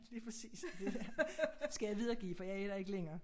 Lige præcis skal jeg videregive for jeg er der ikke længere